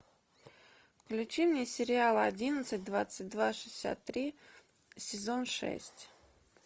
включи мне сериал одиннадцать двадцать два шестьдесят три сезон шесть